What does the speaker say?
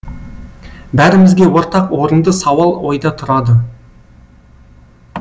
бәрімізге ортақ орынды сауал ойда тұрады